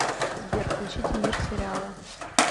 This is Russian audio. сбер включите мир сериала